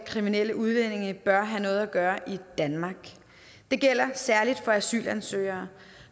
at kriminelle udlændinge bør have noget at gøre i danmark det gælder særlig for asylansøgere